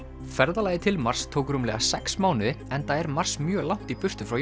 ferðalagið til Mars tók rúmlega sex mánuði enda er Mars mjög langt í burtu frá